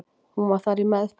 Hún var þar í meðferð.